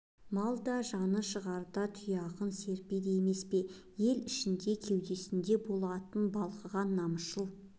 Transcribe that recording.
мал да жаны шығарда тұяғын серпеді емес пе ел ішінде кеудесінде болатын балқыған намысшыл